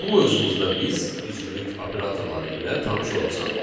Bu mövzumuzda biz üzvlük operatorları ilə tanış olacağıq.